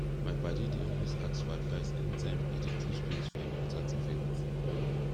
mai padi dey always ask for advise any time e dey choose kloth for important event